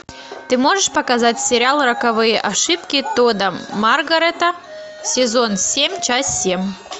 ты можешь показать сериал роковые ошибки тодда маргарета сезон семь часть семь